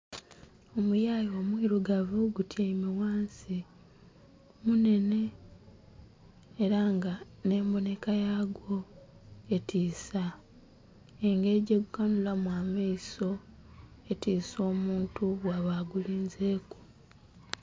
Omuyayu omwirugavu gutyaime ghansi munene era nga nhe embonheka yagwo etisa, engeri gye gu kanhulamu amaiso etisa omuntu bwaba ogulinzeku.